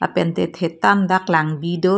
lapen te thetan dak langbi do.